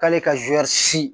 K'ale ka si